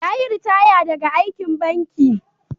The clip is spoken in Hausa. Ya yi ritaya daga aikin banki.